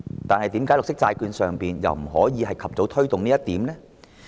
但是，為何在綠色債券方面又不可以及早推動這一點呢？